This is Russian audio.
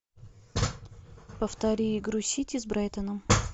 повтори игру сити с брайтоном